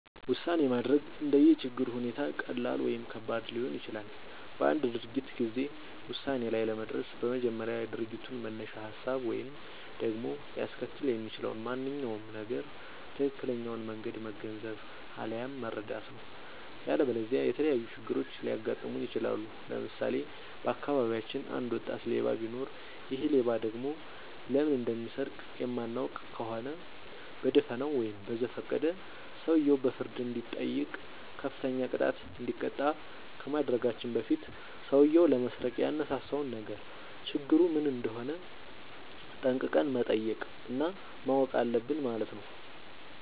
ውሳኔ ማድረግ እንደየ ችግሩ ሁኔታ ቀላል ወይም ከባድ ሊሆን ይችላል። በአንድ ድርጊት ጊዜ ውሳኔ ላይ ለመድረስ በመጀመሪያ የድርጊቱን መነሻ ሀሳብ ወይም ደግሞ ሊያስከትል የሚችለውን ማንኛውም ነገር ትክክለኛውን መንገድ መገንዘብ፣ አለያም መረዳት ነው።. ያለበለዚያ የተለያዩ ችግሮች ሊያጋጥሙን ይችላሉ። ለምሳሌ:- በአካባቢያችን አንድ ወጣት ሌባ ቢኖር ይሔ ሌባ ደግሞ ለምን እንደሚሰርቅ የማናውቅ ከሆነ በደፋናው ወይም በዘፈቀደ ሰውየው በፍርድ እንዲጠይቅ፤ ከፍተኛ ቅጣት እንዲቀጣ ከማድረጋችን በፊት ሠውዬው ለመስረቅ ያነሳሳውን ነገር ችግሩ ምን እንደሆነ ጠንቅቀን መጠየቅ እና ማወቅ አለብን ማለት ነው።